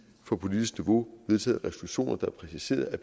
på politisk niveau vedtaget resolutioner der præciserede at